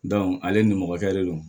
ale ni mɔkɛ de don